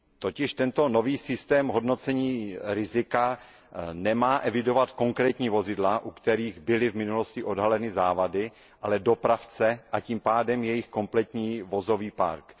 Totiž tento nový systém hodnocení rizika nemá evidovat konkrétní vozidla, u kterých byly v minulosti odhaleny závady, ale dopravce, a tím pádem jejich kompletní vozový park.